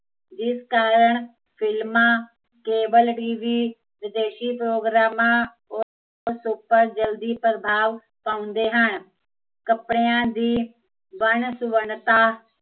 ਜਿਸ ਕਾਰਣ ਫਿਲਮਾਂ, ਕੇਵਲ tv ਵਿਦੇਸ਼ੀ ਪ੍ਰੋਗਰਾਮਾਂ, ਉਸ ਉੱਪਰ ਜਲਦੀ ਪ੍ਰਭਾਵ ਪਾਉਦੇ ਹਨ ਕੱਪੜਿਆ ਦੀ, ਵੰਨ ਸੁਵੰਨਤਾ